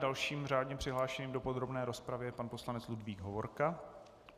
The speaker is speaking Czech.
Dalším řádně přihlášeným do podrobné rozpravy je pan poslanec Ludvík Hovorka.